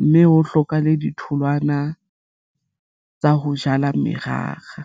mme ho hlokahale ditholwana tsa ho jala merara.